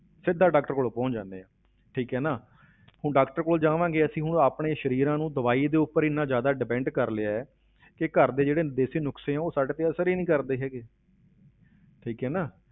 ਸਿੱਧਾ doctor ਕੋਲ ਪਹੁੰਚ ਜਾਂਦੇ ਹਾਂ, ਠੀਕ ਹੈ ਨਾ ਹੁਣ doctor ਕੋਲ ਜਾਵਾਂਗੇ ਅਸੀਂ ਹੁਣ ਆਪਣੇ ਸਰੀਰਾਂ ਨੂੰ ਦਵਾਈ ਦੇ ਉੱਪਰ ਇੰਨਾ ਜ਼ਿਆਦਾ depend ਕਰ ਲਿਆ ਹੈ ਕਿ ਘਰ ਦੇ ਜਿਹੜੇ ਦੇਸ਼ੀ ਨੁਕਸੇ ਆ ਉਹ ਸਾਡੇ ਤੇ ਅਸਰ ਹੀ ਨੀ ਕਰਦੇ ਹੈਗੇ ਠੀਕ ਹੈ ਨਾ।